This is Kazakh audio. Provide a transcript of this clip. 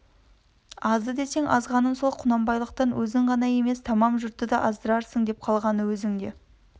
азды десең азғаным сол құнанбайлықтан өзің ғана емес тамам жұртты да аздырарсың деп қалғаны өзің де